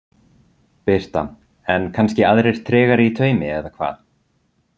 Birta: En aðrir kannski tregari í taumi eða hvað?